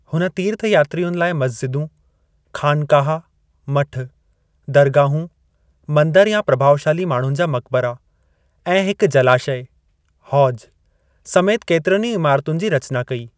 हुन तीर्थयात्रियुनि लाइ मस्जिदूं, खानकाहा (मठ), दरगाहूं (मंदर या प्रभावशाली माण्हुनि जा मकिबरा) ऐं हिक जलाशय (हौज) समेति केतिरियुनि इमारतुनि जी रचना कई।